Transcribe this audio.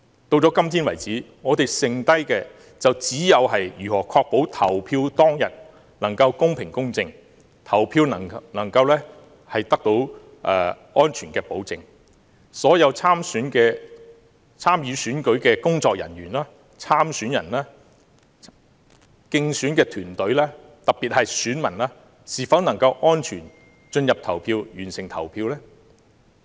到今天為止，我們剩下的就只有如何確保投票當天能夠公平、公正，投票能夠得到安全的保證，所有參與選舉的工作人員、參選人、競選團隊，特別是選民，都能夠安全進入投票站完成投票。